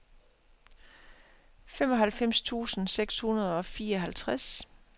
femoghalvfems tusind seks hundrede og fireoghalvtreds